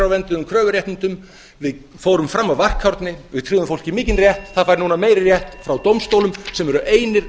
stjórnarskrárvernduðum kröfuréttindum við fórum fram á varkárni við tryggðum fólki mikinn rétt það fær núna meiri rétt frá dómstólum sem eru einir